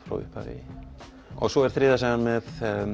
frá upphafi og svo er þriðja sagan með